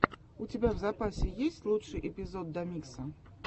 у тебя в запасе есть лучший эпизод домикса